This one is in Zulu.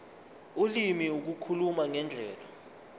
ulimi ukukhuluma ngendlela